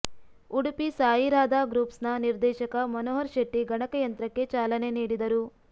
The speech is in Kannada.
ಉಡುಪಿ ಸಾಯಿರಾಧಾ ಗ್ರೂಪ್ಸ್ನ ನಿರ್ದೇಶಕ ಮನೋಹರ್ ಶೆಟ್ಟಿ ಗಣಕ ಯಂತ್ರಕ್ಕೆ ಚಾಲನೆ ನೀಡಿದರು